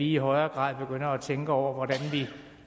i højere grad begynder at tænke over hvordan vi